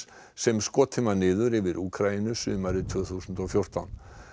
sem skotin var niður yfir Úkraínu sumarið tvö þúsund og fjórtán